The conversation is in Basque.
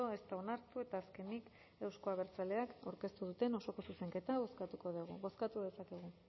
ez da onartu eta azkenik euzko abertzaleak aurkeztu duten osoko zuzenketa bozkatuko dugu bozkatu dezakegu